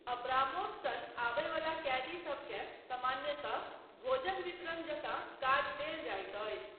Abramoff सन आबय बला कैदीसबकेँ सामान्यतः भोजन वितरण जकाँ काज देल जाइत अछि।